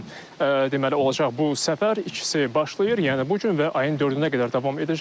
Üç gün deməli olacaq bu səfər, ikisi başlayır, yəni bu gün və ayın dördünə qədər davam edəcək.